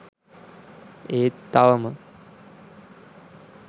ඒත් තවම